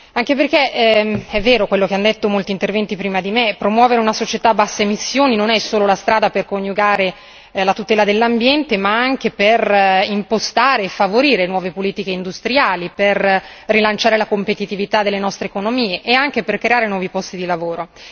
Anche perché è vero quello che hanno detto molti interventi prima di me promuovere una società a basse emissioni non è solo la strada per coniugare la tutela dell'ambiente, ma anche per impostare e favorire nuove politiche industriali, per rilanciare la competitività delle nostre economie e anche per creare nuovi posti di lavoro.